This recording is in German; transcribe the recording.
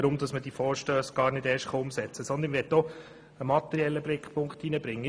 Stattdessen möchte ich ebenfalls einen materiellen Gesichtspunkt einbringen.